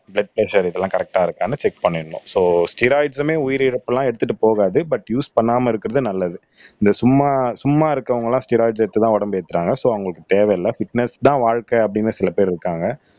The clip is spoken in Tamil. பிளட் பிரஷர் இதெல்லாம் கரெக்ட்டா இருக்கான்னு செக் பண்ணிடணும் சோ ஸ்டெராய்டுஸ்ஸுமே உயிரிழப்பு எல்லாம் எடுத்துட்டு போகாது பட் யூஸ் பண்ணாம இருக்குறது நல்லது இந்த சும்மா சும்மா இருக்கிறவங்க எல்லாம் ஸ்டெராய்டுஸ் எடுத்துதான் உடம்பு ஏத்துறாங்க சோ அவங்களுக்கு தேவையில்ல பிட்னெஸ் தான் வாழ்க்கை அப்படின்னு சில பேர் இருக்காங்க